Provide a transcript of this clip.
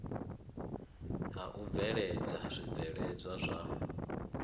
ha u bveledza zwibveledzwa zwa